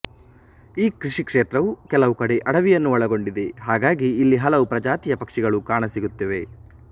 ಈ ಕೃಷಿಕ್ಷೇತ್ರವು ಕೆಲವುಕಡೆ ಅಡವಿಯನ್ನು ಒಳಗೊಂಡಿದೆ ಹಾಗಾಗಿ ಇಲ್ಲಿ ಹಲವು ಪ್ರಜಾತಿಯ ಪಕ್ಷಿಗಳು ಕಾಣಸಿಗುತ್ತಿವೆ